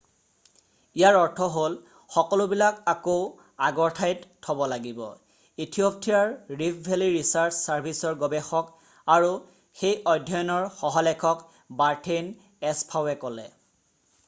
ইয়াৰ অৰ্থ হ'ল সকলোবিলাক আকৌ আগৰ ঠাইত থ'ব লাগিব ইথিয়'পিয়াৰ ৰিফ্ট ভেলি ৰিছাৰ্চ চাৰ্ভিচৰ গৱেষক আৰু সেই অধ্যয়নৰ সহলেখক বাৰ্থেইন এছফাওৱে ক'লে